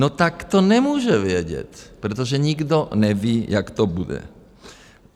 No tak to nemůže vědět, protože nikdo neví, jak to bude.